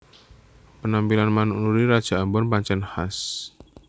Penampilan manuk Nuri raja ambon pancèn khas